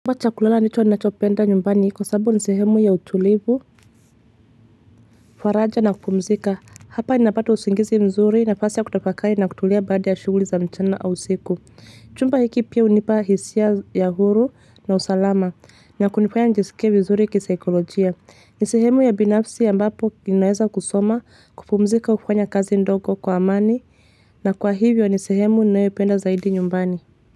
Chumba chakulala nicho anachopenda nyumbani hiko sababu nsehemu ya utulivu, kufaraja na kupumzika, hapa ni napata usingizi mzuri nafasi ya kutafakari na kutulia baada ya shughuli za mchana au usiku. Chumba hiki pia hunipa hisia ya huru na usalama na kunifanya njisike vizuri kisaikolojia. Ni sehemu ya binafsi ya ambapo ninaeza kusoma kupumzika kufanya kazi ndogo kwa amani na kwa hivyo nsehemu ninaependa zaidi nyumbani.